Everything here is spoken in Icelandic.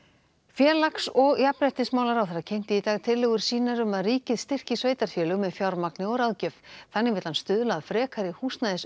félags og jafnréttismálaráðherra kynnti í dag tillögur sínar um að ríkið styrki sveitarfélög með fjármagni og ráðgjöf þannig vill hann stuðla að frekari